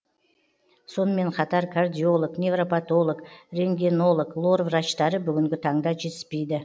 сонымен қатар кардиолог невропатолог рентгенолог лор врачтары бүгінгі таңда жетіспейді